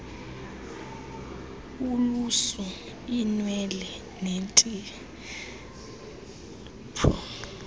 ulusu iinwele neenzipho